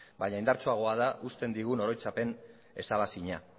baina indartsuagoa da uzten digun oroitzapen ezabaezina